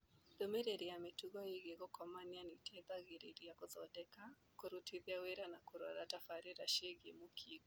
Ndũmĩrĩri ya mĩtugo ĩgiĩ gũkomania nĩĩteithagĩrĩrĩa gũthondeka, kũrutithia wĩra na kũrora tabarĩra ciĩgiĩ mũkingo